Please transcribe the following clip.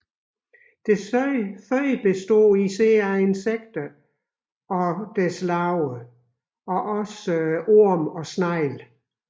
Dets føde består især af insekter og deres larver samt orme og snegle